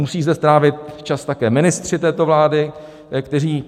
Musí zde trávit čas také ministři této vlády, kteří...